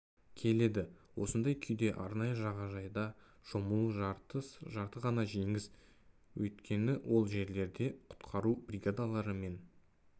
келеді осындай күйде арнайы жағажайда шомылу жарты ғана жеңіс өйткені ол жерлерде құтқару бригадалары мен